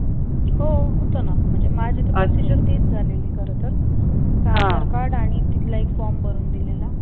हो होतं ना. म्हणजे माझी तर procedure तीच झालेली खर तर. फक्त आधार card आणि तिथला एक form भरून दिलेला.